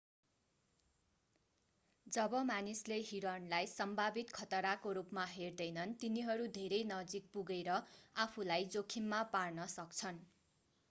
जब मानिसले हिरणलाई सम्भावित खतराको रूपमा हेर्दैनन् तिनीहरू धेरै नजिक पुगरे आफूलाई जोखिममा पार्न सक्छन्